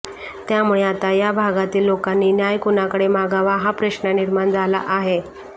त्यामुळे आता या भागातील लोकांनी न्याय कुणाकडे मागावा हा प्रश्न निर्माण झाला आहे